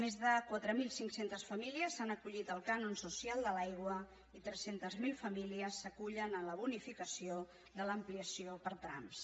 més de quatre mil cinc cents famílies s’han acollit al cànon social de l’aigua i tres cents miler famílies s’acullen a la bonificació de l’ampliació per trams